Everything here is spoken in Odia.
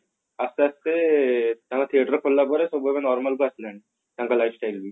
ଆସ୍ତେ ଆସ୍ତେ ତାଙ୍କ theater ଖୋଲିଲା ପରେ ସବୁ ଏବେ normal କୁ ଆସିଲେଣି ତାଙ୍କ lifestyle ବି